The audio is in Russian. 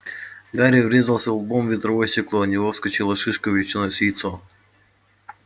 гарри врезался лбом в ветровое стекло и у него вскочила шишка величиной с яйцо